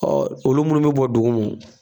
olu minnu bɛ bɔn dugumɔ